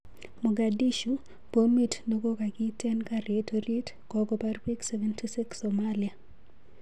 Mogadishu,:Bomit nekokakiten garit orit kokopar pik 76 Somalia